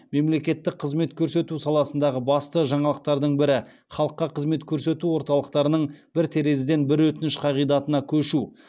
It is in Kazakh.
мемлекеттік қызмет көрсету саласындағы басты жаңалықтардың бірі халыққа қызмет көрсету орталықтарының бір терезеден бір өтініш қағидатына көшу